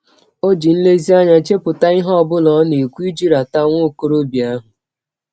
Ọ ji nlezianya chepụta ihe ọ bụla ọ na - ekwụ iji rata nwa ọkọrọbịa ahụ.